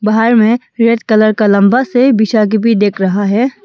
बाहर में red colour का लंबा से बिछा के भी देख रहा है।